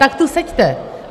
Tak tu seďte.